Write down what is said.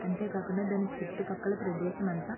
అంతే కాకుండా దాని చుట్టూ పక్కల ప్రదేశం అంత --